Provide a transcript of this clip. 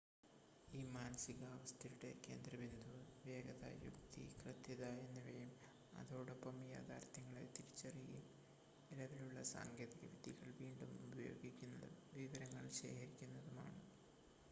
ഈ മാനസികാവസ്ഥയുടെ കേന്ദ്രബിന്ദു വേഗത യുക്തി കൃത്യത എന്നിവയും അതോടൊപ്പം യാഥാർത്ഥ്യങ്ങളെ തിരിച്ചറിയുകയും നിലവിലുള്ള സാങ്കേതിക വിദ്യകൾ വീണ്ടും ഉപയോഗിക്കുന്നതും വിവരങ്ങൾ ശേഖരിക്കുന്നതുമാണ്